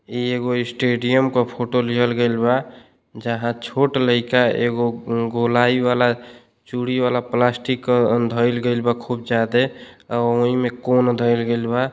एगो स्टेडियम का फोटो लिहल गइल बा। जहाँ छोट लइका एगो गोलाई वाला चूड़ी बाला पिलास्टिक धइल गइल बा। खूब जादे और ओहि में कोण धैल गइल बा --